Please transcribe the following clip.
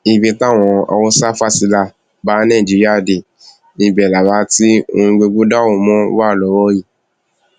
ibi táwọn haúsáfásilà bá nàìjíríà dé ibẹ la wà tí ohun gbogbo dàrú mọ wa lọwọ yìí